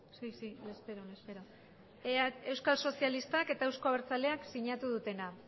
euskal sozialistak eta euzko abertzaleak sinatu dutena